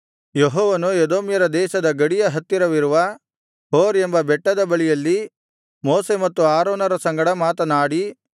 ಯೆಹೋವನು ಎದೋಮ್ಯರ ದೇಶದ ಗಡಿಯ ಹತ್ತಿರವಿರುವ ಹೋರ್ ಎಂಬ ಬೆಟ್ಟದ ಬಳಿಯಲ್ಲಿ ಮೋಶೆ ಮತ್ತು ಆರೋನರ ಸಂಗಡ ಮಾತನಾಡಿ